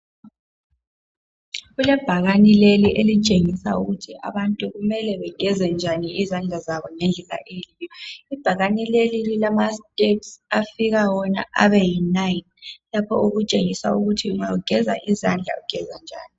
Kulebhakani leli elitshengisa ukuthi abantu mele begeze njani izandla zabo ngendlela eyiyo ibhakane leli lilama steps afika wona abeyinine lapho okutshengisa ukuthi nxa ugeza izandla ugeza njani